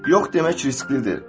Yox demək risklidir.